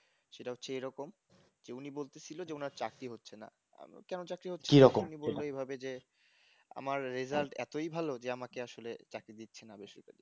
সেটা হচ্ছে এরকম যে উনি বলতেছিলেন ওনার চাকরি হচ্ছে না আমি কেন চাকরি হচ্ছে না উনি বললে এভাবে যে আমার রেজাল্ট এতই ভালো যে আমাকে আসলে চাকরি দিচ্ছে না বেসরকারিতে